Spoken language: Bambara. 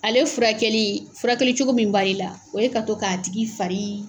Ale furakɛli, furakɛli cogo min b'ale la, o ye ka to k'a tigi farin.